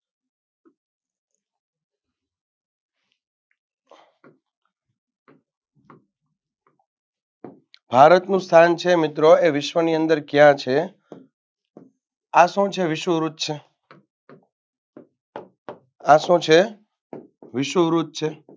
ભારતનું સ્થાન છે મિત્રો એ વિશ્વની અંદર કયા છે? આ શું છે વિષવવૃત છે આ શું છે વિષવવૃત છે.